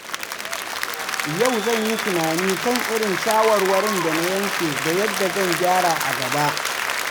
Yau zan yi tunani kan irin shawarwarin da na yanke da yadda zan gyara a gaba.